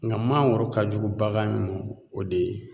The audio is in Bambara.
Ŋa mangoro ka jugu bagan min mɔ o de ye